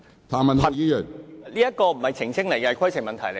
譚議員，你有甚麼規程問題？